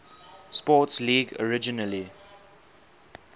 sports league originally